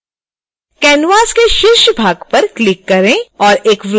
canvas के शीर्ष भाग पर क्लिक करें और एक वृत्त बनाएं